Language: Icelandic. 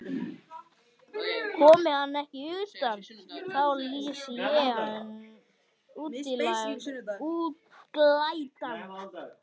Komi hann ekki utan, þá lýsi ég hann útlægan.